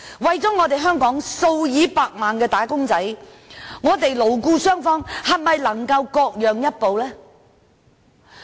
為香港數以百萬計的"打工仔"着想，勞資雙方能否各讓一步呢？